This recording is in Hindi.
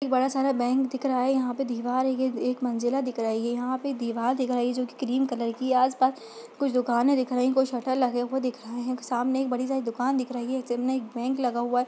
एक बड़ा सा बैंक दिख रहा है यहां पर दीवार है एक मंजिला दिख रही है यहां पर दीवार दिखाई जो की क्रीम कलर की आसपास कुछ दुकाने दिख रही है कुछ शटर लगे हुए दिख रहे है सामने एक बड़ी सारी दुकान दिख रही है जिनमे एक बैंक लगा हुआ है।